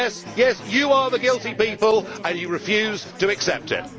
Yes, you are the guilty people and you refuse to accept it.